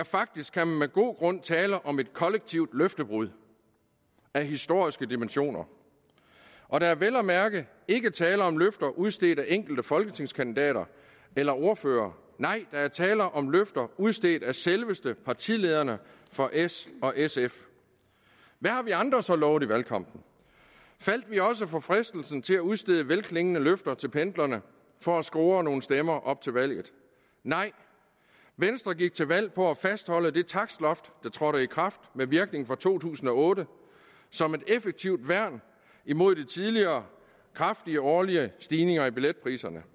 faktisk kan man med god grund tale om et kollektivt løftebrud af historiske dimensioner der er vel at mærke ikke tale om løfter udstedt af enkelte folketingskandidater eller ordførere nej der er tale om løfter der udstedt af selveste partilederne for s og sf hvad har vi andre så lovet i valgkampen faldt vi også for fristelsen til at udstede velklingende løfter til pendlerne for at score nogle stemmer op til valget nej venstre gik til valg på at fastholde det takstloft der trådte i kraft med virkning fra to tusind og otte som et effektivt værn imod de tidligere kraftige årlige stigninger i billetpriserne